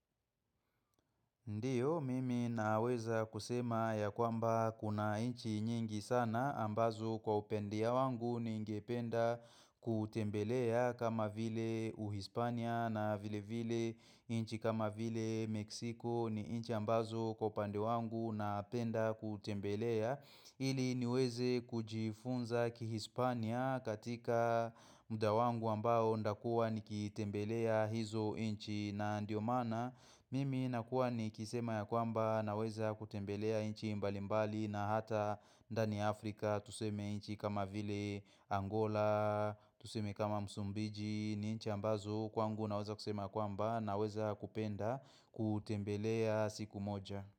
Ndiyo, mimi naweza kusema ya kwamba kuna inchi nyingi sana ambazo kwa upendia wangu ningependa kutembelea kama vile uhispania na vile vile inchi kama vile meksiko ni inchi ambazo kwa upande wangu napenda kutembelea. Ili niweze kujifunza kihispania katika muda wangu ambao ndakua nikitembelea hizo inchi na ndio maana Mimi nakuwa nikisema ya kwamba naweza kutembelea inchi mbalimbali na hata ndani ya Afrika Tuseme inchi kama vile Angola, tuseme kama Msumbiji ni inchi ambazo Kwangu naweza kusema kwamba naweza kupenda kutembelea siku moja.